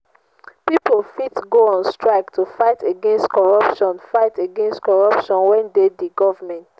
pipo fit go on strike to fight against corruption fight against corruption wey de di government